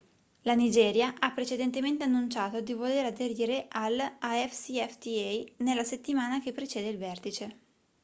la nigeria ha precedentemente annunciato di voler aderire all'afcfta nella settimana che precede il vertice